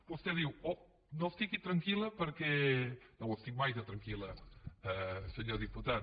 vostè diu oh no estigui tranquilestic mai de tranquil·la senyor diputat